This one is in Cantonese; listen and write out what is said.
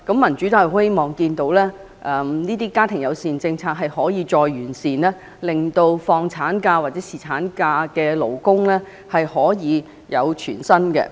民主黨希望見到家庭友善政策得以再完善，令放取產假或侍產假的勞工階層可以獲得全薪的工資。